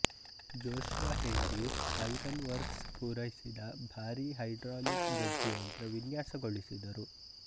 Joshua Hendy iron works ಪೂರೈಸಿದ ಭಾರಿ hydraulic ಜಜ್ಜುಯಂತ್ರ ವಿನ್ಯಾಸಗೊಳಿಸಿದರು